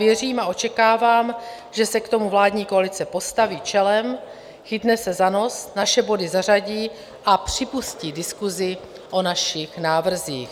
Věřím a očekávám, že se k tomu vládní koalice postaví čelem, chytne se za nos, naše body zařadí a připustí diskusi o našich návrzích.